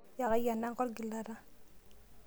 Yakaki enanka orgilata .